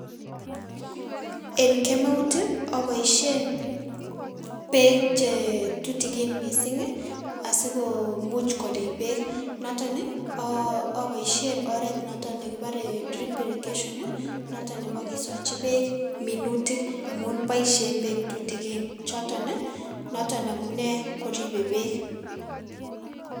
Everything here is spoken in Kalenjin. En kemeut ii oboisien beek che tutikin missing' asikoomuch korib beek noton ii oboisien oret noton nekibore drip irrigation noton nebo kisochi beek minutik amun boisien beek tutikin choton noton amune koribe beek.